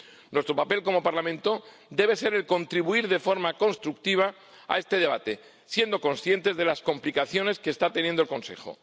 Nuestro papel como Parlamento debe ser el de contribuir de forma constructiva a este debate, siendo conscientes de las complicaciones que está teniendo el Consejo.